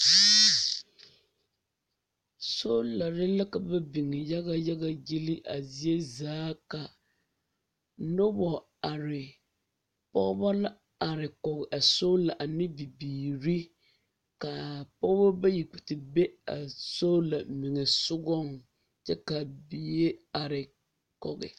Soolaare la ka ba biŋ yaga yaga gyili a zie zaa ka nobɔ are pɔgeba la are kɔge a soolaa ane bibiiri ka a pɔge bayi kpɛ te be a soolaare meŋa sɔgɔŋ kyɛ ka a bie are kɔge.